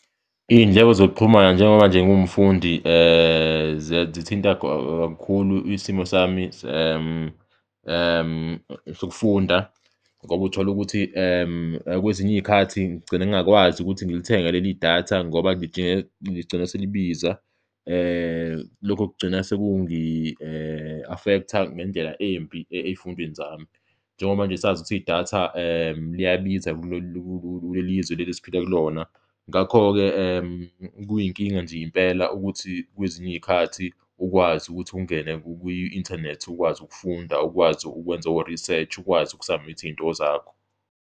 Iy'ndleko zokuxhumana njengoba nje ngiwumfundi zithinta kakhulu isimo sami sokufunda ngoba utholukuthi kwezinye iy'khathi ngigcine ngingakwazi ukuthi ngilithenge leli datha ngoba ligcine selibiza, lokho kugcina sekukuningi affect-a ngendlela embi ey'fundweni zami njengoba nje sazi ukuthi idatha liyabiza kulelizwe leli esiphila kulona. Ngakho-ke, kuyinkinga nje impela ukuthi kwezinye iy'khathi ukwazi ukuthi ungene kwi-inthanethi, ukwazi ukufunda, ukwazi ukwenza o-research, ukwazi uku-submit iy'nto zakho.